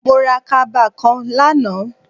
Mo ra kaba kan lánàá